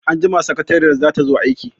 Anjima sakariyar za ta zo aiki.